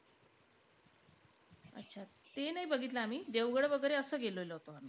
ते नाई बघतिलयं आम्ही. देवगड वैगेरे असं गेलेलो होतो आम्ही.